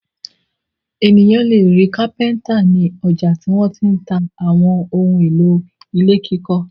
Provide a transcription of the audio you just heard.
Ènìyàn le rí kápẹ́ńtà ní ọjà tí wọ́n ti ń ta àwọn ohun-èlò ilé kíkọ́.